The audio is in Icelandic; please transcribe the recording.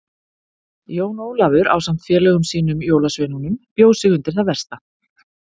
Jón Ólafur ásamt félögum sínum jólasveinunum bjó sig undir það versta.